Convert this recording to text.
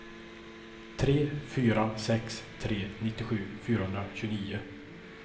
tre fyra sex tre nittiosju fyrahundratjugonio